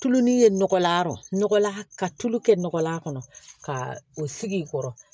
Tulu ni ye nɔgɔlan yɔrɔ ka tulu kɛ nɔgɔ la a kɔnɔ ka o sigi kɔrɔ